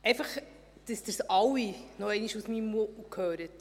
Einfach, dass Sie es alle nochmals aus meinem Mund hören: